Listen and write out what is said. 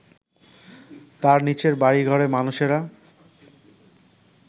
তার নিচের বাড়িঘরে মানুষেরা